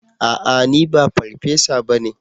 A'a! Ni ba farfesa ba ne.